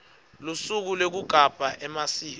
lusuku lwekugabha emasiko